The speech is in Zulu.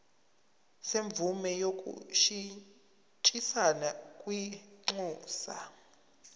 semvume yokushintshisana kwinxusa